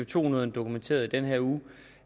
to nyhederne dokumenterede i den her uge